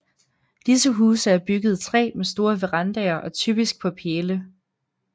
Disse huse er bygget i træ med store verandaer og typisk på pæle